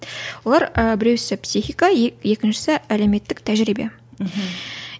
олар ы біреуісі психика екіншісі әлеуметтік тәжірибе мхм